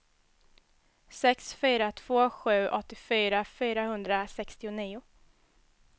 sex fyra två sju åttiofyra fyrahundrasextionio